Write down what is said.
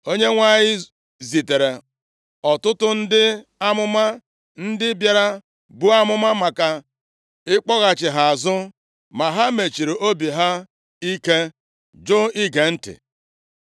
Onyenwe anyị zitere ọtụtụ ndị amụma, ndị bịara buo amụma maka ịkpọghachi ha azụ, ma ha mesiri obi ha ike, jụ ige ntị.